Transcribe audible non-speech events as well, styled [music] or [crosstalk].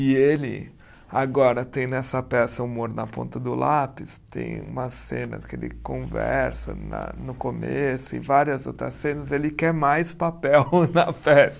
E ele, agora, tem nessa peça o humor na ponta do lápis, tem umas cenas que ele conversa na no começo e várias outras cenas, ele quer mais papel [laughs] na peça.